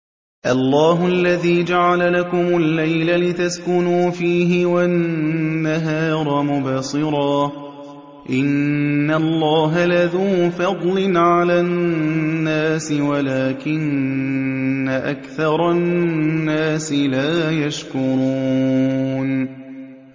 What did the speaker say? اللَّهُ الَّذِي جَعَلَ لَكُمُ اللَّيْلَ لِتَسْكُنُوا فِيهِ وَالنَّهَارَ مُبْصِرًا ۚ إِنَّ اللَّهَ لَذُو فَضْلٍ عَلَى النَّاسِ وَلَٰكِنَّ أَكْثَرَ النَّاسِ لَا يَشْكُرُونَ